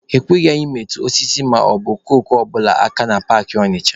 E kweghị anyị metụ osisi maọbụ okooko ọ bụla aka na paakị Ọnịcha.